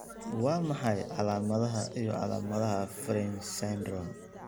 Waa maxay calaamadaha iyo calaamadaha Fryns syndrome?